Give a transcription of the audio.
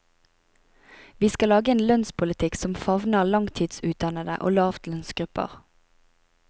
Vi skal lage en lønnspolitikk som favner langtidsutdannede og lavtlønnsgrupper.